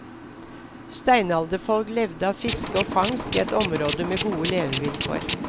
Steinalderfolk levde av fiske og fangst i et område med gode levevilkår.